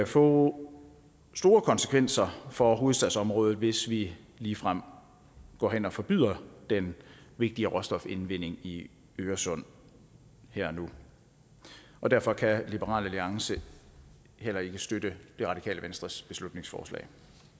få store konsekvenser for hovedstadsområdet hvis vi ligefrem går hen og forbyder den vigtige råstofindvending i øresund her og nu og derfor kan liberal alliance heller ikke støtte det radikale venstres beslutningsforslag